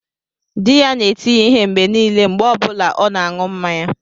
Di ya na-eti ya ihe mgbe niile mgbe ọ bụla ọ na-aṅụ mmanya